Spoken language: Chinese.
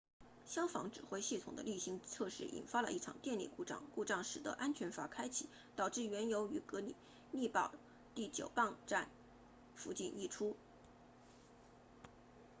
消防指挥系统的例行测试引发了一场电力故障故障使得安全阀开启导致原油于格里利堡 fort greely 第9泵站附近溢出